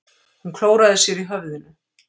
Hún klóraði sér í höfðinu.